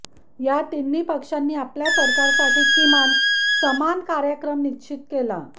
या तिन्ही पक्षांनी आपल्या सरकारसाठी किमान समान कार्यक्रम निश्चित केला